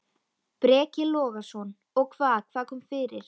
Breki Logason: Og hvað, hvað kom fyrir?